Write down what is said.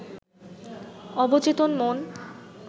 অবচেতন মন